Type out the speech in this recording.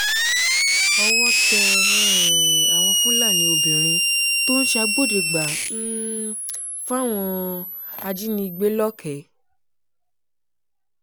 owó tẹ um àwọn fúlàní obìnrin tó ń ṣàgbọ́dẹ́gbà um fáwọn ajínigbé lọ́kẹ̀ẹ́